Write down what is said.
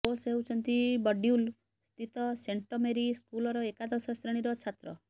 ଓଶ୍ ହେଉଛନ୍ତି ବଡ୍ବିଲ୍ ସ୍ଥିତ ସେଣ୍ଟମେରୀ ସ୍କୁଲର ଏକାଦଶ ଶ୍ରେଣୀର ଛାତ୍ର